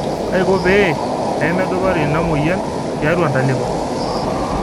kaiko pee peedupari ina moyian tiatua ntalipa